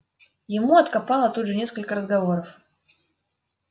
ему откопало тут же несколько разговоров